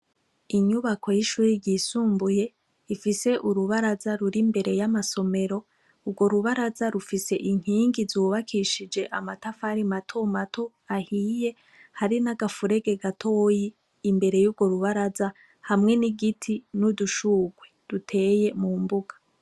Inyubako y'ishuri ryisumbuye ifise urubaraza ruri imbere y'amasomero urwo rubaraza rufise inkingi zubakishije amatafari mato mato ahiye hari n'agafurege gatoyi imbere yurwo rubaraza hamwe n'igiti n'udushurwe duteye mu mbuga.